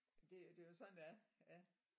Det det er jo sådan det er ja